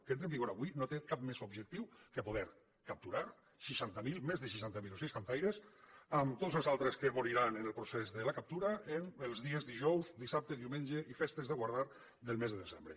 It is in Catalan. que entre en vigor avui no té cap més objectiu que poder capturar més de seixanta mil ocells cantaires amb tots els altres que moriran en el procés de la captura els dijous dissabtes diumenges i festes de guardar del mes de desembre